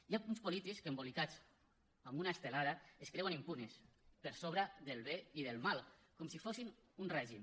hi ha alguns polítics que embolicats amb una estelada es creuen impunes per sobre del bé i del mal com si fossin un règim